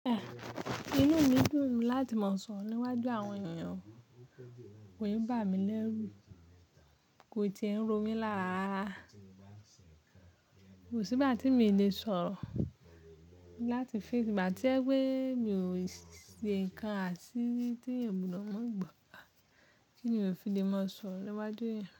Inú mi dùn láti máa sọ̀rọ̀ níwájú àwọn èèyàn, wòn bà mí lẹ́rù, kò ti ń ro mí lára ra ra, kò sí igba tí mi le sọ̀rọ̀ láti fẹ́ tí bà tí ẹ pé mi ò ṣe nǹkan àṣírí tí eeyan gbodo maa gbo, kí ni mo fi lè máa sọ̀rọ̀ níwájú èèyàn?